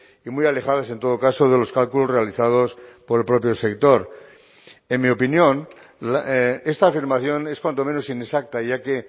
y muy alejadas en todo caso de los cálculos realizados por el propio sector en mi opinión esta afirmación es cuanto menos inexacta ya que